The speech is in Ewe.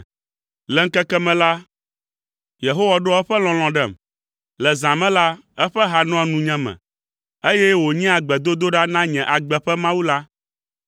Le ŋkeke me la, Yehowa ɖoa eƒe lɔlɔ̃ ɖem, le zã me la eƒe ha nɔa nunyeme, eye wònyea gbedodoɖa na nye agbe ƒe Mawu la.